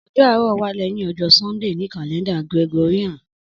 Ọjọ Aarọ wa lẹhin ọjọ Sundee ni kalẹnda Gregorian